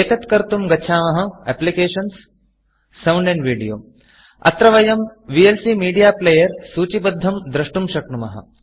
एतत्कर्तुं गच्छामः Applicationsएप्लिकेषन्gtSound एण्ड Videoसौण्द् अण्ड् वीडियो अत्र वयं वीएलसी मीडिया Playerविएल्सी मीडिया प्लेयर् सूचिबद्धं द्रष्टुं शक्नुमः